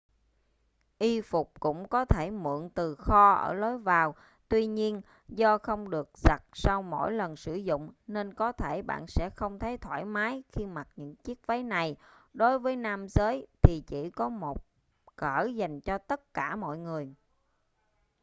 y phục cũng có thể mượn từ kho ở lối vào tuy nhiên do không được giặt sau mỗi lần sử dụng nên có thể bạn sẽ không thấy thoải mái khi mặc những chiếc váy này đối với nam giới thì chỉ có một cỡ dành cho tất cả mọi người